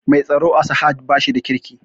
Mai tsaro a sahad bashi da kirki